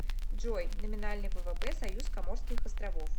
джой номинальный ввп союз коморских островов